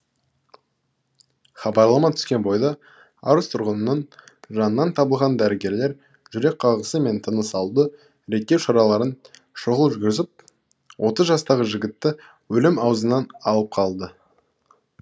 хабарлама түскен бойда арыс тұрғынының жанынан табылған дәрігерлер жүрек қағысы мен тыныс алуды реттеу шараларын шұғыл жүргізіп отыз жастағы жігітті өлім аузынан алып қалды